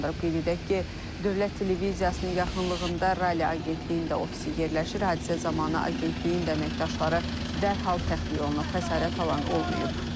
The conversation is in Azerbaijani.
Qeyd edək ki, dövlət televiziyasının yaxınlığında Rali agentliyində ofisi yerləşir, hadisə zamanı agentliyin də əməkdaşları dərhal təxliyə olunub, xəsarət alan olmayıb.